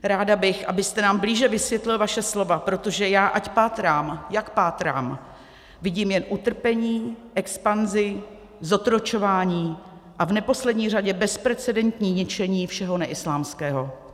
Ráda bych, abyste nám blíže vysvětlil vaše slova, protože já, ať pátrám, jak pátrám, vidím jen utrpení, expanzi, zotročování a v neposlední řadě bezprecedentní ničení všeho neislámského.